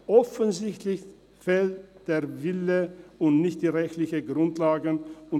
Offensichtlich fehlt der Wille, und es fehlen nicht die rechtlichen Grundlagen.